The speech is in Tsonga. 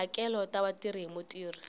tihakelo ta vatirhi hi mutirhi